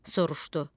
Soruşdu: